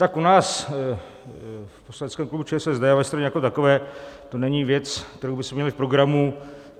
Tak u nás v poslaneckém klubu ČSSD a ve straně jako takové to není věc, kterou bychom měli v programu.